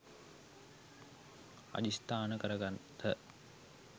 අධිෂ්ඨාන කර ගත්හ.